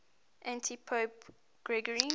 antipope gregory